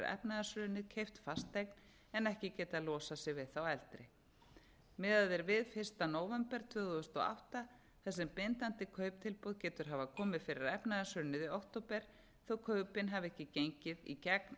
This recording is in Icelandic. efnahagshrunið keypt fasteign en ekki getað losað sig við þá eldri miðað er við fyrsta nóvember tvö þúsund og átta þar sem bindandi kauptilboð getur hafa komið fyrir efnahagshrunið í október þó að kaupin hafi ekki gengið í gegn